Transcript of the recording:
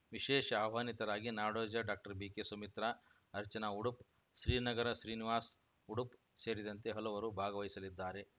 ವಿಶೇಷ ಆಹ್ವಾನಿತರಾಗಿ ನಾಡೋಜ ಡಾಕ್ಟರ್ಬಿಕೆಸುಮಿತ್ರ ಅರ್ಚನಾ ಉಡುಪ್ ಶ್ರೀನಗರ ಶ್ರೀನಿವಾಸ ಉಡುಪ್ ಸೇರಿದಂತೆ ಹಲವರು ಭಾಗವಹಿಸಲಿದ್ದಾರೆ